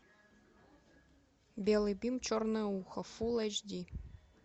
белый бим черное ухо фулл эйч ди